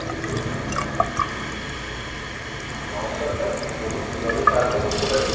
নমস্কার sir, বলুন কীভাবে সাহায্য করতে পারি?